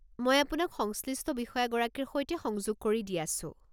মই আপোনাক সংশ্লিষ্ট বিষয়াগৰাকীৰ সৈতে সংযোগ কৰি দি আছো।